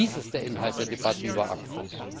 Dies ist der Inhalt der Debatte über ACTA.